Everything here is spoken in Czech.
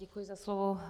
Děkuji za slovo.